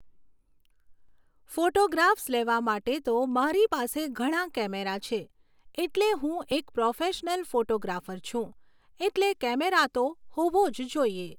photographs લેવા માટે તો મારી પાસે ઘણા કેમેરા છે, એટલે હું એક પ્રોફેશનલ ફોટોગ્રાફર છું એટલે કૅમેરા તો હોવો જ જોઈએ